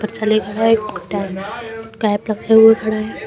एक पकड़े हुए खड़ा है।